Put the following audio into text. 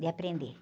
De aprender.